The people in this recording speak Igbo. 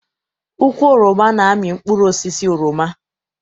Ukwu oroma na-amị mkpụrụosisi oroma.